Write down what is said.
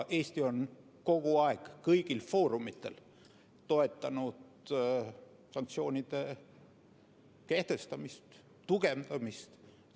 Eesti on kogu aeg kõigil foorumitel toetanud sanktsioonide kehtestamist ja tugevdamist.